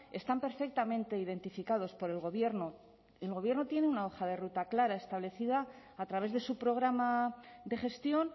están perfectamente identificados por el gobierno el gobierno tiene una hoja de ruta clara establecida a través de su programa de gestión